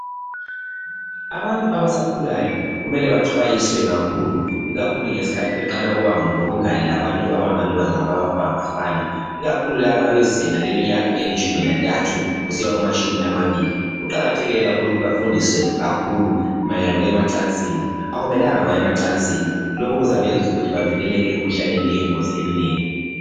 Abantu abasakhulayo kumele baxwayiswe kakhulu ikakhulu ngesikhathi beqala ukuba lobungane labantu abangamantombazana kumbe abafana. Ikakhulu laba abazinga leminyaka elitshumi lantathu kusiya kumatshumi amabili. Kuqakathekile kakhulu ukuthi bafundiswe kakhulu mayelana lokuya emacansini. Akumelanga bayemacansini lokhu kuzabenza ukuthi bavikeleke emikuhlaneni eyingozi eminengi.